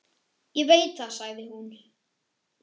Ég veit það, sagði hún.